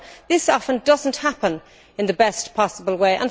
This often does not happen in the best possible way.